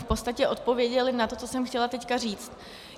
V podstatě odpověděli na to, co jsem chtěla teď říct.